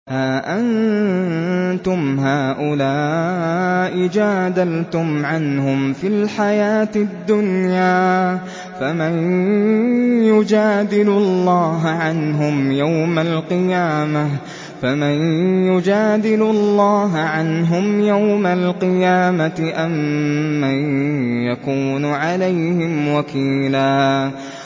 هَا أَنتُمْ هَٰؤُلَاءِ جَادَلْتُمْ عَنْهُمْ فِي الْحَيَاةِ الدُّنْيَا فَمَن يُجَادِلُ اللَّهَ عَنْهُمْ يَوْمَ الْقِيَامَةِ أَم مَّن يَكُونُ عَلَيْهِمْ وَكِيلًا